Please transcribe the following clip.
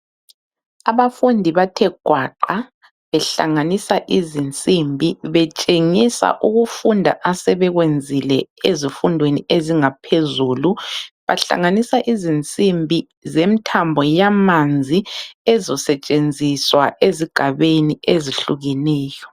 Abafundi bathe gwaqa behlanganisa izinsimbi betshengisa ukufunda asebekwenzile ezifundweni ezingaphezulu. Bahlanganisa izinsimbi zemthambo yamanzi ezosetshenziswa ezigabeni ezihlukeneyo.